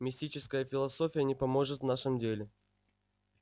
мистическая философия не поможет в нашем деле